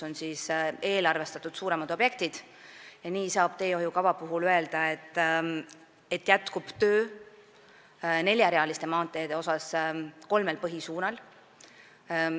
Nii on eelarvestatud suuremad objektid ja nii saab teehoiukava kohta öelda, et jätkub töö neljarealiste maanteede ehitamisel kolmel põhisuunal.